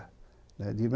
Né